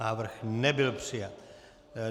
Návrh nebyl přijat.